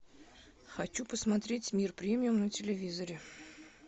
хочу посмотреть мир премиум на телевизоре